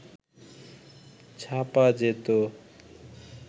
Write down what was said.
ছাপা যেত